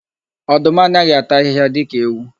Ọdụm anaghị ata ahịhịa dika ewu.